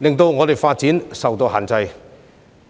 以致在發展方面出現種種掣肘。